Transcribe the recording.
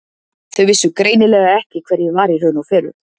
Þau vissu greinilega ekki hver ég var í raun og veru.